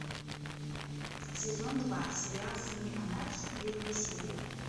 сезон два сериал сыны анархии первая серия